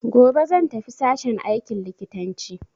Gobe zan tafi sashen aikin likitanci.